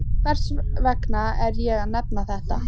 Hvers vegna er ég að nefna þetta?